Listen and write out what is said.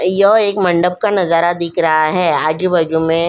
यह एक मंडप का नजारा दिख रहा है आजू-बाजू में --